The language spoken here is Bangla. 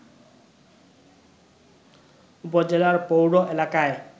উপজেলার পৌর এলাকায়